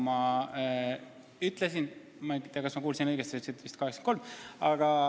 Ma ei tea, kas ma kuulsin õigesti, sa ütlesid vist 83.